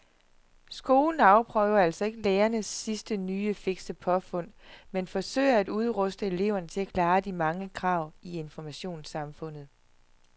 Skolen afprøver altså ikke lærernes sidste nye fikse påfund men forsøger at udruste eleverne til at klare de mange krav i informationssamfundet.